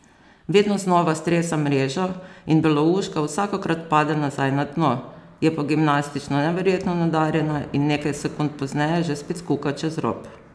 Vedno znova stresam mrežo in belouška vsakokrat pade nazaj na dno, je pa gimnastično neverjetno nadarjena in nekaj sekund pozneje že spet kuka čez rob.